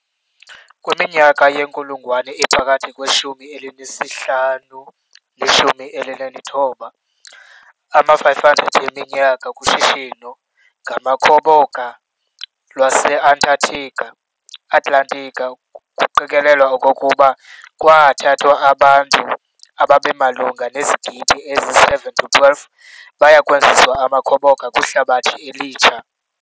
Kwiminyaka yenkulungwane ephakathi kweshumi elinesihlanu neshumi elinethoba , ama-500 yeminyaka, kushishino ngamakhoboka lwase-Atlantika kuqikelelwa okokuba kwaathathwa abantu ababemalunga nezigidi ezisi-7-12 bayakwenziwa amakhoboka kwiHlabathi eliTsha.